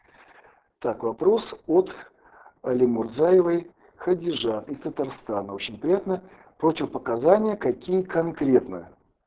так вопрос от алимурзаевой хадижа из татарстана очень приятно противопоказания какие конкретно